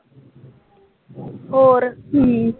ਹੋਰ ਹੂੰ